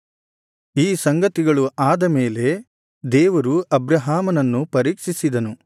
ಈ ಸಂಗತಿಗಳು ಆದ ಮೇಲೆ ದೇವರು ಅಬ್ರಹಾಮನನ್ನು ಪರೀಕ್ಷಿಸಿದನು